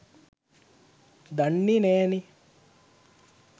දන්නේ නෑනේ